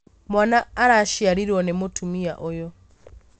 Mwana araciarirwo nĩ mũtumia ũyũ